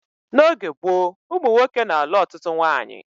N'oge gboo ụmụ nwoke na-alụ ọtụtụ nwaanyị